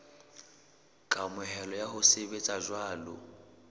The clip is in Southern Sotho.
kamohelo ya ho sebetsa jwalo